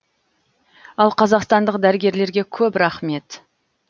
ал қазақстандық дәрігерлерге көп рахмет